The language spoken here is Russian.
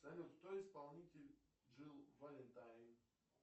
салют кто исполнитель джилл валентайн